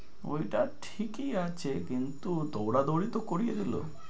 ঐটা ঠিকই আছে কিন্তু দৌড়াদোড়ি তো করিয়ে দিলো।